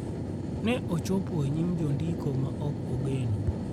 ne ochopo e nyim jondiko ma ok ogeno